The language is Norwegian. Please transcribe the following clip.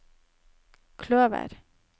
kløver